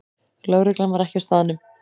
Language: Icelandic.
Lögreglan var ekki á staðnum